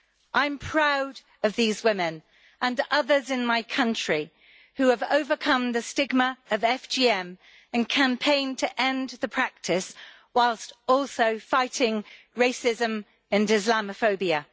I am proud of these women and others in my country who have overcome the stigma of FGM and who campaign to end the practice, whilst also fighting racism and Islamophobia.